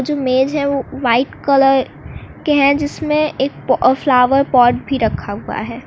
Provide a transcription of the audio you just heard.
जो मेज हैं वो व्हाइट कलर के हैं जिसमें एक प फ्लॉवर पॉट भी रखा हुआ है।